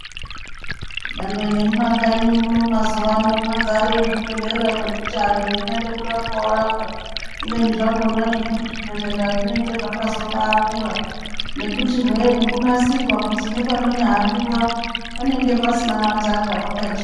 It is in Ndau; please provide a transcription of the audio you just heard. Nyangwe nemumakanyi muno mazuwa ano mwadzare zvibhedhlera zvekuti antu weinyade kurapwa worapwa. Kubeni zvakhona zvimweni zvibhedhlera zvinenge zvakazobaakura, nekutihwee vakanasirwa pekuti nepanonyahambiwa panenge pasina mataka pakachena.